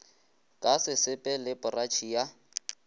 ka sesepe le poratšhe ya